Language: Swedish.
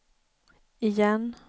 igen